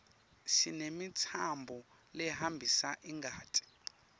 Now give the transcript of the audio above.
sinemitsambo lehambisa ingati